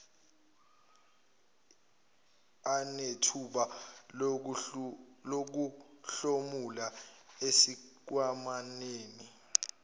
anethuba lokuhlomula esikhwamaneni